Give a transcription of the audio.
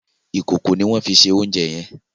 Ìkòkò ni wọ́n fi se oúnjẹ yẹn.